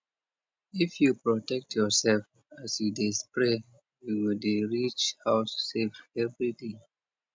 if you protect yourself as you dey spray you go dey reach house safe every day